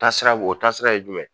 Taasira bo o taasira ye jumɛn ye.